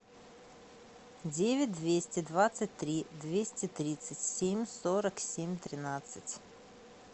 девять двести двадцать три двести тридцать семь сорок семь тринадцать